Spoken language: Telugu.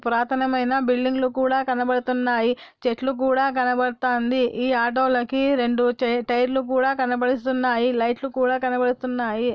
పురాతనమైన బిల్డింగ్ లు కూడా కనబడుతున్నాయి చెట్లు కూడా కనబడుతాంది ఈ ఆటో లకి రెండు టైర్ లు కూడా కనబడుతున్నాయి లైట్ లు కూడా కనబడుతున్నాయి.